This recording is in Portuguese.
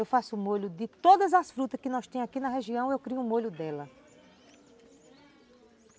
Eu faço o molho de todas as frutas que nós temos aqui na região, eu crio o molho dela.